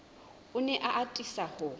o ne a atisa ho